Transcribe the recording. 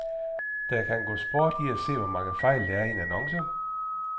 Der kan gå sport i at se, hvor mange fejl, der er i en annonce.